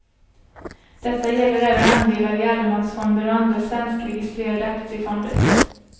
Detta gäller även andelar i allemansfonder och andra svenskregistrerade aktiefonder.